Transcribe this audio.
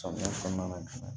Samiyɛ kɔnɔna na